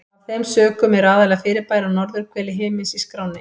Af þeim sökum eru aðallega fyrirbæri á norðurhveli himins í skránni.